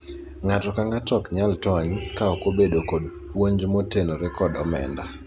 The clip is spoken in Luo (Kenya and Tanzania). ng'ato ang'ato ok nyal tony kaok obedo kod puonj motenore kod omenda